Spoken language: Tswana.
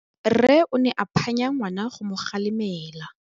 Rre o ne a phanya ngwana go mo galemela.